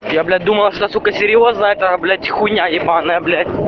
я блять думал все сука серьёзно а это блять хуйня ебаная блять